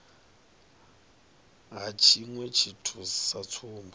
ha tshiṅwe tshithu sa tsumbo